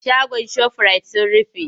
Shagon shofirayit sun rufe.